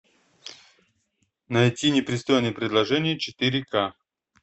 найти непристойное предложение четыре ка